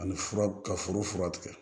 Ani fura ka foro fura tigɛ